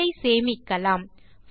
file ஐ சேமிக்கலாம்